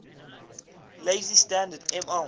lazy standard ml